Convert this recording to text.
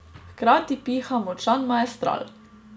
Hkrati piha močan maestral.